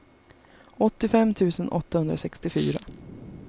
åttiofem tusen åttahundrasextiofyra